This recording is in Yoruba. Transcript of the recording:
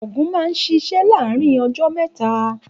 Ògùn náà sisé láàárín ojó méta